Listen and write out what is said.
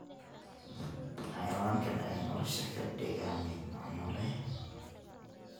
Xayawaanka ayaa nolosha ka dhiga mid macno leh.